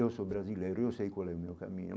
Eu sou brasileiro, eu sei qual é o meu caminho.